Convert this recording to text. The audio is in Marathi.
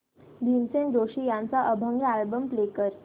भीमसेन जोशी यांचा अभंग अल्बम प्ले कर